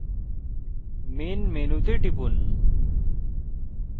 main menu menu তে টিপুন